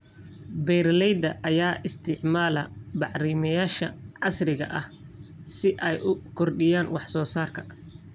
Beeralayda ayaa isticmaala bacrimiyeyaasha casriga ah si ay u kordhiyaan wax soo saarka.